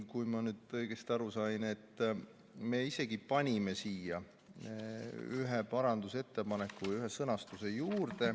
Kui ma nüüd õigesti aru sain, siis me isegi tegime ühe parandusettepaneku.